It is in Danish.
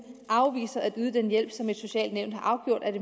afviser at yde den hjælp som det sociale nævn har afgjort at